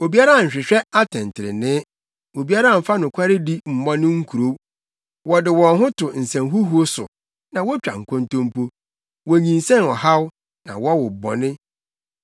Obiara nhwehwɛ atɛntrenee; obiara mfa nokwaredi mmɔ ne nkurow. Wɔde wɔn ho to nsɛnhuhuw so na wotwa nkontompo; wonyinsɛn ɔhaw na wɔwo bɔne.